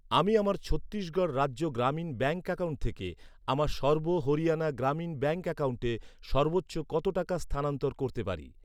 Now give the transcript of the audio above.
আমি আমার Chhattisgarh Rajya Gramin bank account থেকে আমার সর্ব হরিয়ানা গ্রামীণ ব্যাঙ্ক অ্যাকাউন্টে সর্বোচ্চ কত টাকা স্থানান্তর করতে পারি?